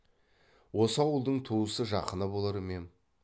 осы ауылдың туысы жақыны болар ма ем